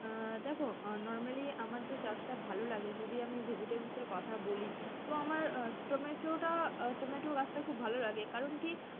আহ দেখো normally আমার যে চাষটা ভালো লাগে যদি আমি vegetables এর কথা বলি, তো আমার আহ টমেটোটা, আহ টমেটো গাছটা খুব ভালো লাগে কারণ কি,